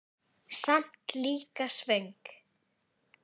Samt líka svöng.